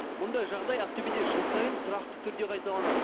мұндай жағдай ақтөбеде жыл сайын тұрақты түрде қайталанады